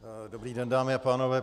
Dobrý den, dámy a pánové.